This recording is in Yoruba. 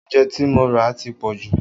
Oúnjẹ tí mo ra ti pọ̀jù